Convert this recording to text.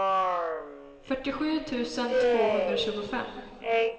fyrtiosju tusen tvåhundratjugofem